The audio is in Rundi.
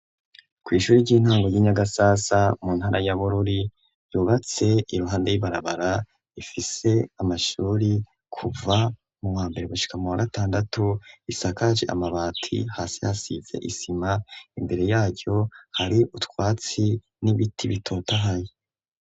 Kw'shuri ry'intango y'inyagasasa mu ntara ya bururi yubatse iruhande y'ibarabara ifise amashuri kuva mu wa mbere gushika mu wa gatandatu isakaje amabati hasi hasize isima imbere yayo hari utwatsi n'ibiti bitotahaye.